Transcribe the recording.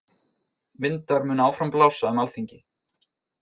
Vindar munu áfram blása um Alþingi